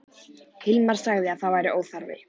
Hilmar sagði að það væri óþarfi.